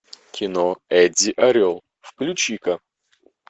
кино эдди орел включи ка